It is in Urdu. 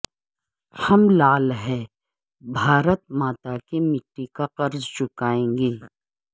ہم لعل ہیں بھارت ماتا کے مٹی کا قرض چکائیں گے